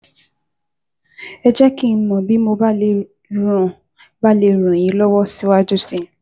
Ẹ jẹ́ kí n mọ̀ bí mo bá lè ràn bá lè ràn yín lọ́wọ́ síwájú sí i